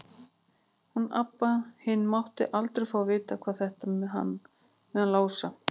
Hún Abba hin mátti aldrei fá að vita þetta með hann Lása.